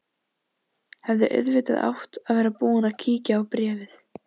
Hefði auðvitað átt að vera búin að kíkja á bréfið.